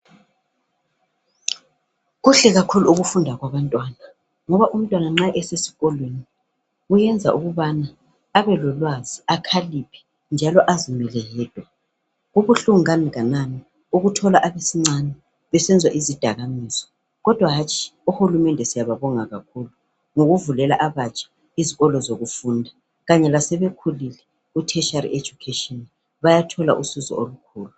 Kuhle kakhulu ukufunda kwabantwana, ngoba nxa umntwana esesikolwe kuyenza ukubana abe lolwazi, akaliphe njalo azimele yedwa. Kubuhlungu kanganani ukuthola abasincane besenza izidakamizwa. Kodwa hatshi uhurumende siyabambonga kakhulu ngokuvulela abatsha izikolo zokufunda. Kanye lasebekhulile kuthetshali ejukesheni bayathola izikolo zokufunda.